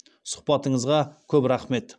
сұхбатыңызға көп рахмет